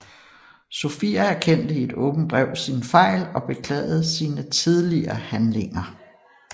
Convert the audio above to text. Sofia erkendte i et åbent brev sin fejl og beklagede sine tidligere handlinger